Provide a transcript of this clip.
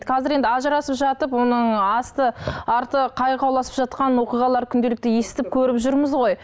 қазір енді ажырасып жатып оның асты арты қайқауласып жатқан оқиғалар күнделікті естіп көріп жүрміз ғой